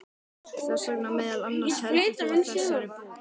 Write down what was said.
Þess vegna meðal annars heldur þú á þessari bók.